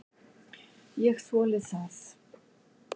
Ég þoli það.